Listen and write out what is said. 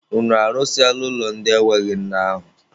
Unu arụsịala ụlọ ndị enweghị nne ahụ?